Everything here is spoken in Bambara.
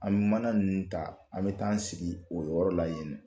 An mana nunnu ta an bɛ taaan sigi o yɔrɔ la yen